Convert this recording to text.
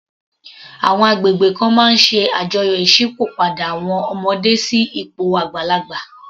Àwọn agbègbè kan máa ń ṣe àjọyọ̀ Ìsópọ̀ padà àwọn ọmọdé sí ipò àgbàlagbà